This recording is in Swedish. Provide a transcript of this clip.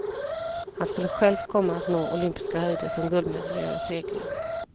Han skulle själv komma att nå olympiska höjder som guldmedaljör i segling.